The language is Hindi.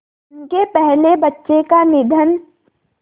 उनके पहले बच्चे का निधन